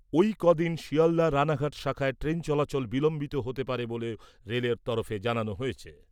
ঐ কদিন শিয়ালদা রাণাঘাট শাখায় ট্রেন চলাচল বিলম্বিত হতে পারে বলেও রেলের তরফে জানানো হয়েছে।